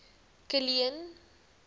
kilian